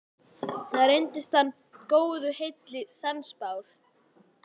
Þar reyndist hann góðu heilli sannspár.